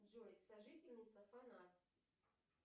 джой сожительница фанат